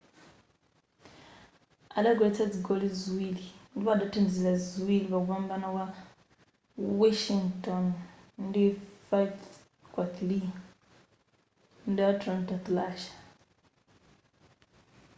adagoletsa zigoli ziwiri ndipo adathandizira ziwili pakumbana kwa washington ndi 5-3 ndi atlanta thrashers